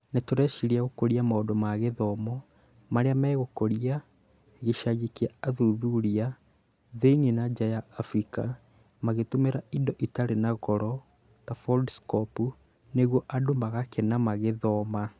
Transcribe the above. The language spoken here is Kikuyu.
nĩtũreciria gũkũria maũndũ ma gĩthomo marĩa megũkũria gĩcagĩ kĩa athuthuria thĩinĩ na nja ya Afrika magĩtũmĩra indo itarĩ na goro ta foldskopu nĩguo andũ magakena magĩthoma